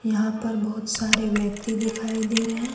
यहां पर बहुत सारे व्यक्ति दिखाई दे रहे--